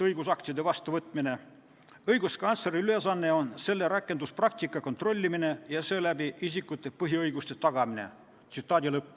Õiguskantsleri ülesanne on selle rakenduspraktika kontrollimine ja seeläbi isikute põhiõiguste tagamine.